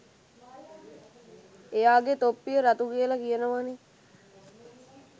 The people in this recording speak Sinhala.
එයාගේ තොප්පිය රතු කියල කියනවනේ